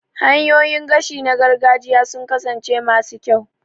Hanyoyin gashi na gargajiya sun kasance masu kyau